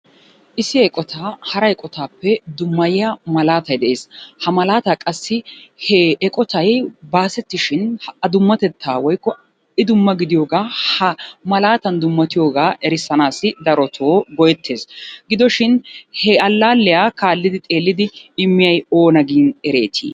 Issi eqotaa hara eqotaappe dummayiya malaatay de'es. Ha malaataa qassi he eqotay baasettishin a dummatettaa woykko I dumma gidiyoogaa ha malaatan dummatiyogaa erissanassi darotoo go'ettes. Gidoshin he allaalliya kaallidi xeellidi immiyay oona gin ereetii?